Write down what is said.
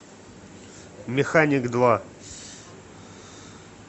механик два